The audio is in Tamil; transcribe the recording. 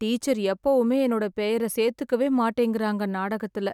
டீச்சர் எப்போவுமே என்னோட பெயரை சேர்த்துக்கவே மாட்டிங்கறாங்க நாடகத்துல